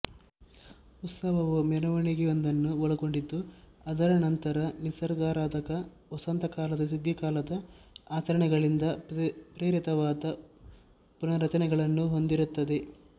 ಉತ್ಸವವು ಮೆರವಣಿಗೆಯೊಂದನ್ನು ಒಳಗೊಂಡಿದ್ದು ಅದರ ನಂತರ ನಿಸರ್ಗಾರಾಧಕ ವಸಂತ ಕಾಲದ ಸುಗ್ಗಿಕಾಲದ ಆಚರಣೆಗಳಿಂದ ಪ್ರೇರಿತವಾದ ಪುನರಾಚರಣೆಗಳನ್ನು ಹೊಂದಿರುತ್ತದೆ